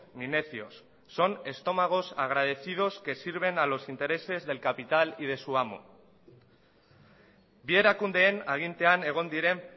ni necios son estómagos agradecidos que sirven a los intereses del capital y de su amo bi erakundeen agintean egon diren